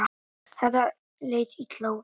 Þetta leit illa út.